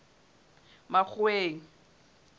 makgoweng